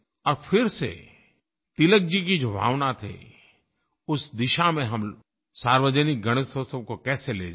और फिर से तिलक जी की जो भावना थी उस दिशा में हम सार्वजनिक गणेशोत्सव को कैसे ले जाएँ